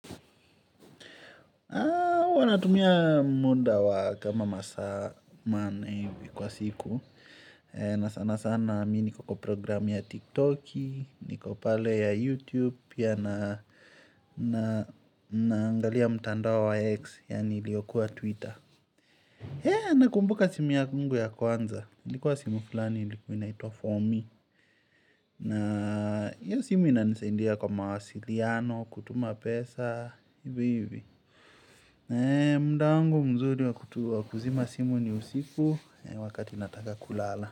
Huwa natumia muda wa kama masaa manne hivi kwa siku na sana sana mi niko kwa program ya tiktoki niko pale ya youtube Pia na angalia mtandao wa X. Yani iliokuwa twitter nakumbuka simu yangu ya kwanza ilikuwa simu fulani ilikuwa inaitwa for me na hiyo simu inanisaidia kwa mawasiliano kutuma pesa ivi hivi muda wangu mzuri wa kuzima simu ni usiku wakati nataka kulala.